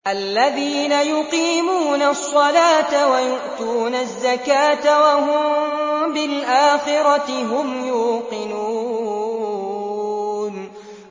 الَّذِينَ يُقِيمُونَ الصَّلَاةَ وَيُؤْتُونَ الزَّكَاةَ وَهُم بِالْآخِرَةِ هُمْ يُوقِنُونَ